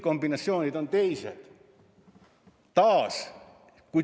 Kombinatsioonid on küll teised.